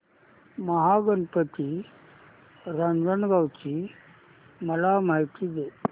महागणपती रांजणगाव ची मला माहिती दे